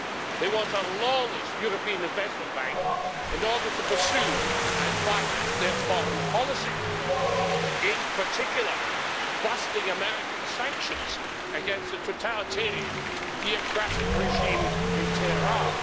They want a lawless European Investment Bank in order to pursue and finance their foreign policy, in particular busting American sanctions against the totalitarian, theocratic regime in Tehran.